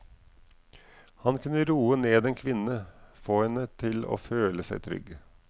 Han kunne roe ned en kvinne, få henne til å føle seg trygg.